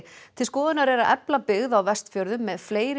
til skoðunar er að efla byggð á Vestfjörðum með fleiri